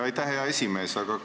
Aitäh, hea esimees!